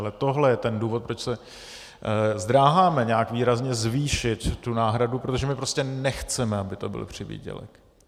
Ale tohle je ten důvod, proč se zdráháme nějak výrazně zvýšit tu náhradu, protože my prostě nechceme, aby to byl přivýdělek.